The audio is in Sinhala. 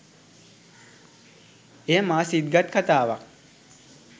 එය මා සිත් ගත් කතාවක්